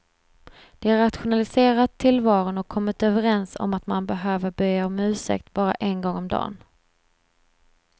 De har rationaliserat tillvaron och kommit överens om att man behöver be om ursäkt bara en gång om dan.